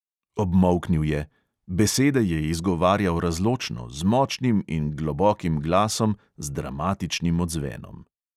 Obmolknil je; besede je izgovarjal razločno, z močnim in globokim glasom z dramatičnim odzvenom.